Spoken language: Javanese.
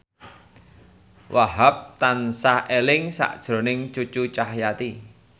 Wahhab tansah eling sakjroning Cucu Cahyati